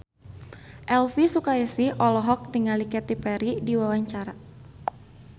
Elvy Sukaesih olohok ningali Katy Perry keur diwawancara